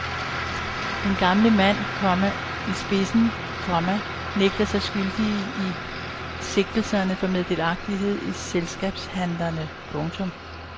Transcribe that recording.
Den gamle mand, komma i spidsen, komma nægter sig skyldige i sigtelserne for meddelagtighed i selskabshandlerne. punktum